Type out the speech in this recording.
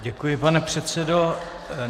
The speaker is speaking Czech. Děkuji, pane předsedo.